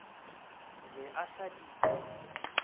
be a se sa di